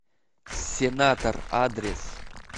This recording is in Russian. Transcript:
сенатор адрес